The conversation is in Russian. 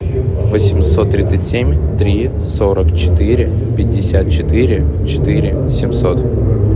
восемьсот тридцать семь три сорок четыре пятьдесят четыре четыре семьсот